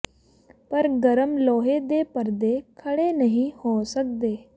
ਪਰ ਗਰਮ ਲੋਹੇ ਦੇ ਪਰਦੇ ਖੜ੍ਹੇ ਨਹੀਂ ਹੋ ਸਕਦੇ